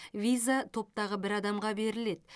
виза топтағы бір адамға беріледі